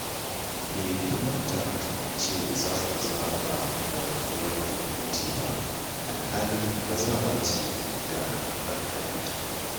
Bai kamata ku ce za ku zaɓa wa ɗiyarku miji ba, alhali bazawara ce da hankalinta